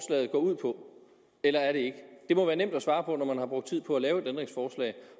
ud på eller er det ikke det må være nemt at svare på når man har brugt tid på at lave et ændringsforslag